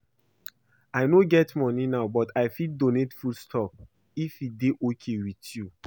I no get money now but I fit donate food stuff if e dey okay with you